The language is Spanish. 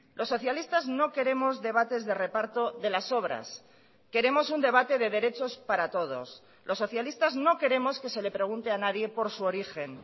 los socialistas no queremos debates de reparto de las obras queremos un debate de derechos para todos los socialistas no queremos que se le pregunte a nadie por su origen